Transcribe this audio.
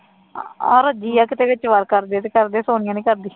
ਆਹੋ ਰੋਜੀ ਆ ਕਰਦੀ ਆ ਤੇ ਕਰਦੀ ਆ ਸੋਨੀਆ ਨੀ ਕਰਦੀ